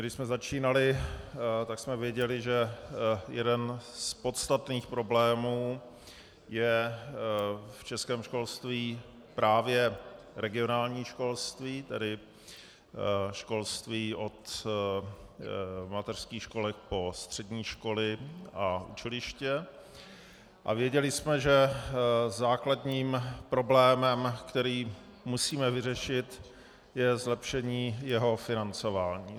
Když jsme začínali, tak jsme věděli, že jeden z podstatných problémů je v českém školství právě regionální školství, tedy školství od mateřských školek po střední školy a učiliště, a věděli jsme, že základním problémem, který musíme vyřešit, je zlepšení jeho financování.